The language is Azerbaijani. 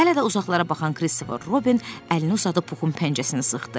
Hələ də uzaqlara baxan Kristofer Robin əlini uzadıb Puxun pəncəsini sıxdı.